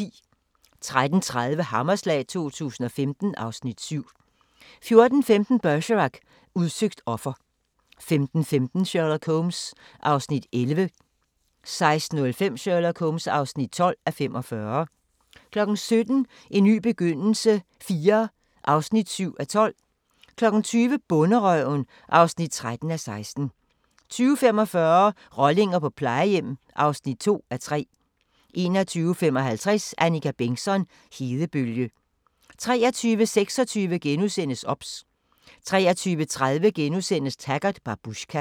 13:30: Hammerslag 2015 (Afs. 7) 14:15: Bergerac: Udsøgt offer 15:15: Sherlock Holmes (11:45) 16:05: Sherlock Holmes (12:45) 17:00: En ny begyndelse IV (7:12) 20:00: Bonderøven (13:16) 20:45: Rollinger på plejehjem (2:3) 21:55: Annika Bengtzon: Hedebølge 23:26: OBS * 23:30: Taggart: Babushka *